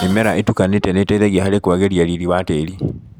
Mĩmera ĩtukanĩte nĩiteithagia harĩ kũagĩria riri wa tĩri.